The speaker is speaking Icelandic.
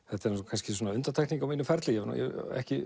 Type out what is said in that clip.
þetta er svona undantekning á mínum ferli ég hef ekki